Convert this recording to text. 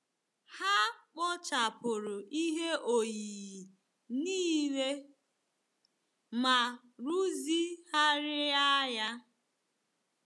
Ha kpochapụrụ ihe oyiyi niile ma rụzigharịa ya.